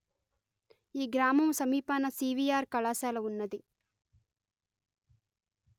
ఈ గ్రామము సమీపాన సివీఅర్ కళాశాల ఉన్నది